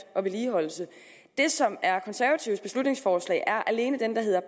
og vedligeholdelse det som er konservatives beslutningsforslag er alene det der hedder